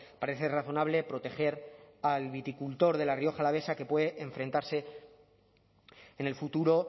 parece razonable proteger al viticultor de la rioja alavesa que puede enfrentarse en el futuro